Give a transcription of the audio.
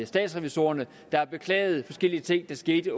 statsrevisorerne der har beklaget forskellige ting der skete